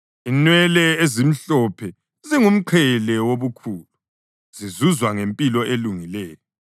Inwele ezimhlophe zingumqhele wobukhulu, zizuzwa ngempilo elungileyo.